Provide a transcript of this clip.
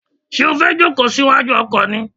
Ṣé o fẹ́ jòkó sí wájú ọkọ̀ ni?